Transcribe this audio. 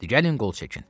Gəlin qol çəkin.